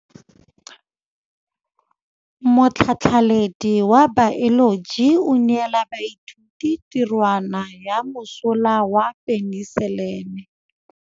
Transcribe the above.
Motlhatlhaledi wa baeloji o neela baithuti tirwana ya mosola wa peniselene.